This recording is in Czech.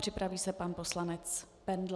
Připraví se pan poslanec Bendl.